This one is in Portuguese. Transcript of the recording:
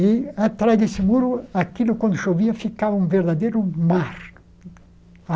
E, atrás desse muro, aquilo, quando chovia, ficava um verdadeiro mar.